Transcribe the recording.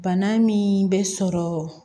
Bana min bɛ sɔrɔ